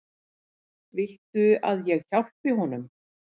Viltu að ég hjálpi honum?